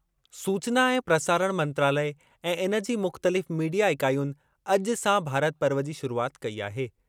सूचना ऐं प्रसारण मंत्रालय ऐं इन जी मुख़्तलिफ़ मीडिया इकाइयुनि अॼु सां भारत पर्व जी शुरूआति कई आहे।